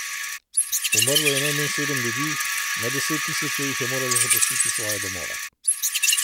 Umrlo je najmanj sedem ljudi, na deset tisoče jih je moralo zapustiti svoje domove.